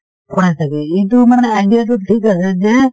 পঢ়াই থাকে এইটো মানে idea টো ঠিক আছে যে